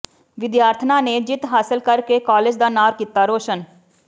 ਵਿਦਿਆਰਥਣਾਂ ਨੇ ਜਿੱਤ ਹਾਸਲ ਕਰਕੇ ਕਾਲਜ ਦਾ ਨਾਂਅ ਕੀਤਾ ਰੌਸ਼ਨ